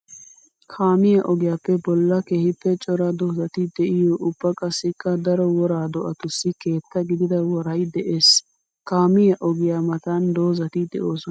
Kaamiya ogiyappe bolla keehippe cora doozatti de'iyo ubba qassikka daro wora do'attussi keetta gididda woray de'ees. Kaamiya ogiya matan doozati de'osona.